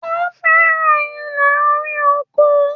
Ó fẹ̀ràn ilé-orí-oko.